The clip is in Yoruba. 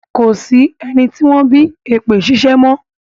Ko sí ẹni tí wọ́n bí èpè ṣíṣẹ́ mọ́.